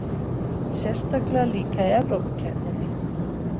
Sérstaklega líka í Evrópukeppninni.